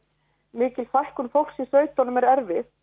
mikil fækkun fólks í sveitunum er erfið